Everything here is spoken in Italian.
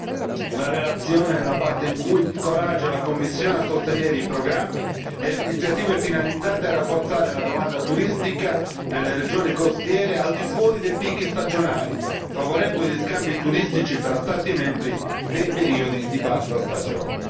Infine, ritengo molto positiva la relazione nella parte in cui incoraggia la Commissione a sostenere i programmi e le iniziative finalizzate a rafforzare la domanda turistica nelle regioni costiere al di fuori dei picchi stagionali, favorendo gli scambi turistici tra Stati membri nei periodi di bassa stagione.